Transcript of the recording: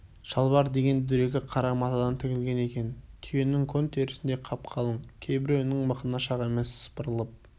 шалбар деген дөрекі қара матадан тігілген екен түйенің көн терісіндей қап-қалың кейбіреуінің мықынына шақ емес сыпырылып